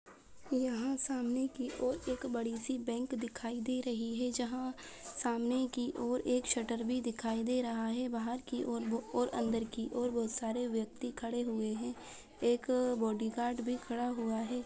यहाँ सामने की ओर एक बड़ी- सी बैंक दिखाई दे रही है जहाँ सामने की ओर एक शटर भी दिखाई दे रहा है बाहर की ओर और अंदर की ओर बहुत सारे व्यक्ति खड़े हुए हैं एक बॉडीगार्ड भी खड़ा हुआ हैं।